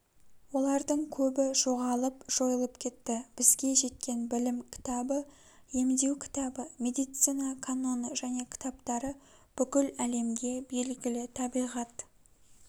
олардың көбі жоғалып жойылып кетті бізге жеткен білім кітабы емдеу кітабы медицина каноны және кітаптары бүкіл әлемге белгілі табиғат